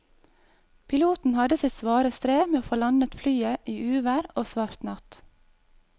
Piloten hadde sitt svare strev med å få landet flyet i uvær og svart natt.